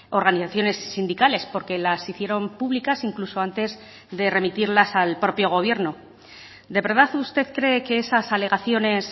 organizaciones sindicales porque las hicieron públicas incluso antes de remitirlas al propio gobierno de verdad usted cree que esas alegaciones